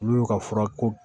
N'u y'u ka fura ko